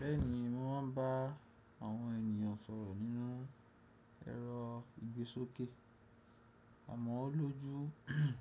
Bẹ́ẹ̀ni, mo máa ń bá àwọn ènìyàn sọ̀rọ̀ nínú ẹ̀rọ ìgbésókè. Amọ̀ ọ́ lójú